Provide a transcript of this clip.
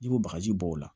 Ji bɛ bagaji bɔ o la